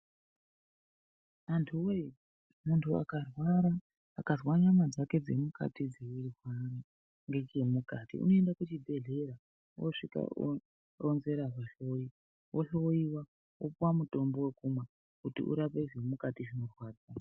Antu we muntu akarwara akanzwa nyama dzake dze mukati dzeirwara ngeche mukati unoende ku chibhedhleya osvika oronzera mu hloyi ohloyiwa opuwa mutombo wokumwa kutu urape zviri mukati zvinorwadza.